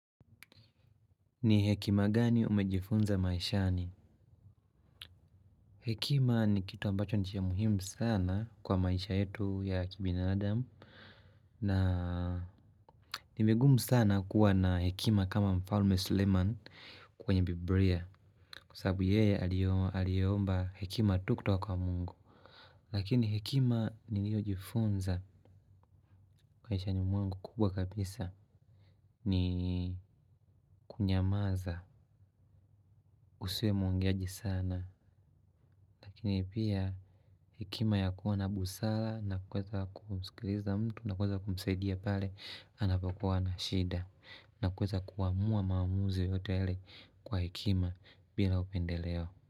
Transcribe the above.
Ni hekima gani umejifunza maishani? Hekima ni kitu ambacho ni cha muhimu sana kwa maisha yetu ya kibinadamu na ni migumu sana kuwa na hekima kama mfalme suleiman kwenye biblia kwa sababu yeye aliomba hekima tu kutoka kwa Mungu. Lakini hekima niliyojifunza maishani mwangu kubwa kabisa. Ni kunyamaza usiwe mwongeaji sana. Lakini pia hekima ya kuwa na busara na kuweza kumskiliza mtu na kuweza kumsaidia pale anapokuwa na shida na kuweza kuamua maamuzi yote yale kwa hekima bila upendeleo.